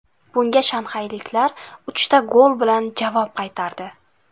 Bunga shanxayliklar uchta gol bilan javob qaytardi.